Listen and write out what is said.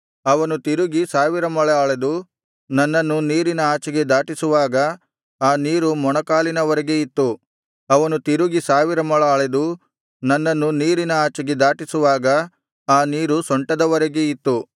ಅವನು ತಿರುಗಿ ಸಾವಿರ ಮೊಳ ಅಳೆದು ನನ್ನನ್ನು ನೀರಿನ ಆಚೆಗೆ ದಾಟಿಸುವಾಗ ಆ ನೀರು ಮೊಣಕಾಲಿನವರೆಗೆ ಇತ್ತು ಅವನು ತಿರುಗಿ ಸಾವಿರ ಮೊಳ ಅಳೆದು ನನ್ನನ್ನು ನೀರಿನ ಆಚೆಗೆ ದಾಟಿಸುವಾಗ ಆ ನೀರು ಸೊಂಟದವರೆಗೆ ಇತ್ತು